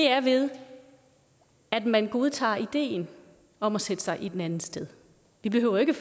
er ved at man godtager ideen om at sætte sig i den andens sted vi behøver ikke